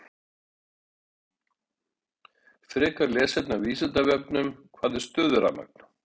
Frekara lesefni á Vísindavefnum: Hvað er stöðurafmagn?